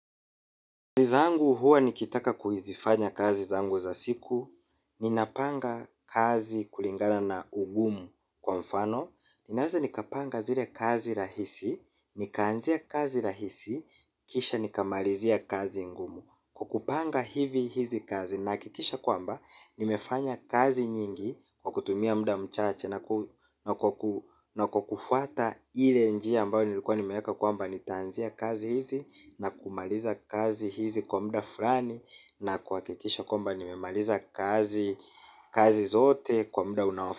Kazi zangu huwa nikitaka kuzifanya kazi zangu za siku. Ninapanga kazi kulingana na ugumu kwa mfano ninaweza nikapanga zile kazi rahisi. Nikaanzia kazi rahisi. Kisha nikamalizia kazi ngumu. Kwa kupanga hivi hizi kazi naha kikisha kwamba nimefanya kazi nyingi kwa kutumia muda mchache. Na kwa kufuata ile njia ambayo nilikuwa nimeweka kwamba nitaanzia kazi hizi na kumaliza kazi hizi kwa muda fulani. Na kuhakikisha kwamba nimemaliza kazi zote kwa muda unaofa.